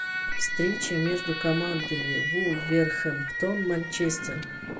встреча между командами вулверхэмптон манчестер